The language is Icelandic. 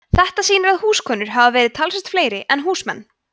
þetta sýnir að húskonur hafa verið talsvert fleiri en húsmenn